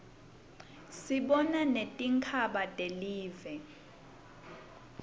sibona netingzaba telive